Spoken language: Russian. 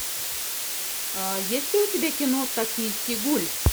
есть ли у тебя кино токийский гуль